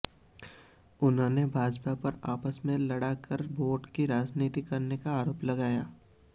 उन्होंने भाजपा पर आपस में लड़ाकर वोट की राजनीति करने का आरोप लगाया